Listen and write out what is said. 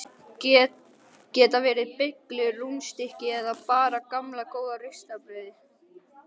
Geta verið beyglur, rúnnstykki eða bara gamla góða ristaða brauðið.